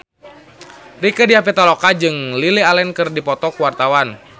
Rieke Diah Pitaloka jeung Lily Allen keur dipoto ku wartawan